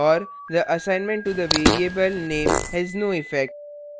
और the assignment to the variable name has no effect